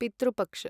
पितृ पक्ष